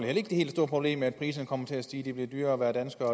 det helt store problem at priserne kommer til at stige det bliver dyrere at være dansker